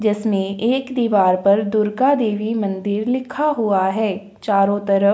जिसमें एक दीवार पर दुर्गा देवी मंदिर लिखा हुआ है। चारों तरफ --